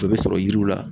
O bɛ sɔrɔ yiriw la